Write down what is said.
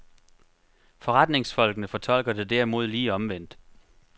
Forretningsfolkene fortolker det derimod lige omvendt.